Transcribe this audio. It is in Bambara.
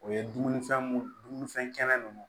O ye dumunifɛn mun dumunifɛn kɛnɛ nunnu